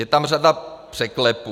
Je tam řada překlepů.